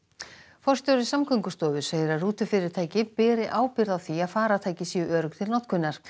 forstjóri Samgöngustofu segir að rútufyrirtæki beri ábyrgð á því að farartæki séu örugg til notkunar